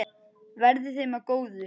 Verði þeim að góðu.